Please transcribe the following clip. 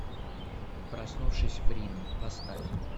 проснувшись в рино поставь